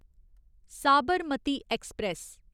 Sabarmati express